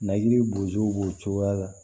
Naji bo b'o cogoya la